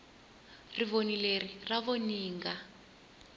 rivoni leri ra voninga